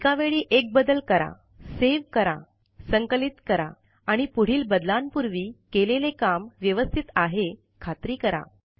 एका वेळी एक बदल करा सेव करासंकलित करा आणि पुढील बदलांपुर्वी केलेले काम व्यवस्तीत आहे खात्री करा